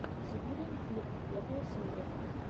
сибириан бирд первая серия